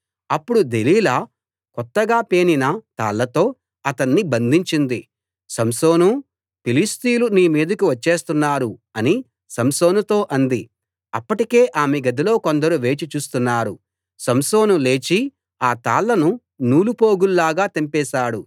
అప్పుడు దెలీలా కొత్తగా పేనిన తాళ్లతో అతణ్ణి బంధించింది సంసోనూ ఫిలిష్తీయులు నీ మీదకు వచ్చేస్తున్నారు అని సంసోనుతో అంది అప్పటికే ఆమె గదిలో కొందరు వేచి చూస్తున్నారు సంసోను లేచి ఆ తాళ్ళను నూలు పోగుల్లా తెంపేశాడు